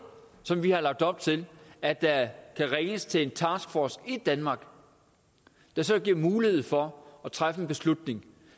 som vi har lagt op til at der kan ringes til en taskforce i danmark der så giver mulighed for at træffe en beslutning